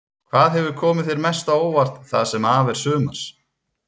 Hvað hefur komið þér mest á óvart það sem af er sumars?